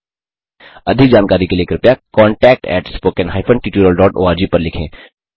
अधिक जानकारी के लिए कृपया contactspoken tutorialorg पर लिखें